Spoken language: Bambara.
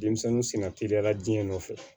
Denmisɛnninw senna teliyala jeni nɔfɛ